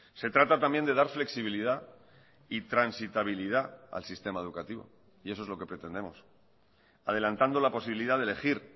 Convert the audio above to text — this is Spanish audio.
se trata también de dar flexibilidad y transitabilidad al sistema educativo y eso es lo que pretendemos adelantando la posibilidad de elegir